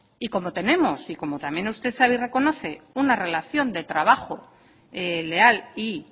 y como tenemos y como también usted sabe y reconoce una relación de trabajo leal y